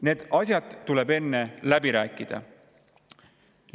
Need asjad tuleb enne läbi rääkida.